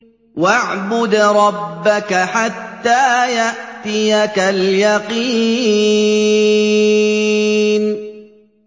وَاعْبُدْ رَبَّكَ حَتَّىٰ يَأْتِيَكَ الْيَقِينُ